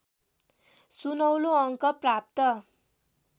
सुनौलो अङ्क प्राप्त